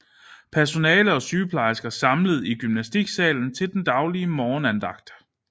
Personale og sygeplejersker samlet i gymnastiksalen til den daglige morgenandagt